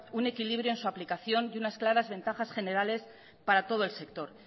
un equilibrio en su aplicación y unas claras ventajas generales para todo el sector